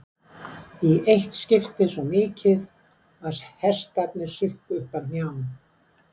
Í eitt skiptið svo mikið að hestarnir sukku upp að hnjám.